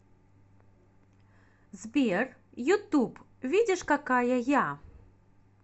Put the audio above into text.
сбер ютуб видишь какая я